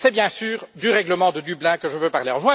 C'est bien sûr du règlement de Dublin dont je veux parler.